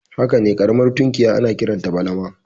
Hakane ƙaramar tunkiya ana kiranta balama